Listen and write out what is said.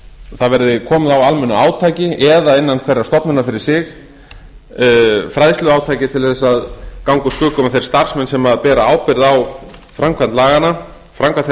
það verði komið á almennu átaki eða innan hverrar stofnunar fyrir sig fræðsluátaki til að ganga úr skugga um að þeir starfsmenn sem bera ábyrgð á framkvæmd þeirra reglna